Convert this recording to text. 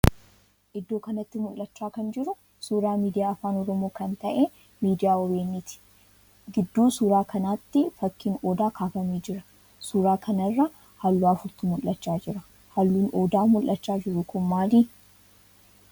Iddoo kanatti mul'achaa kan jiru suuraa miidiyaa afaan Oromoo kan ta'ee miidiyaa OBN ti. Gidduu suuraa kanaatti fakkiin Odaa kaafamee jira. Suuraa kanarra halluu afurtu mul'achaa jira. Halluun Odaa mul'achaa jiru kun maali?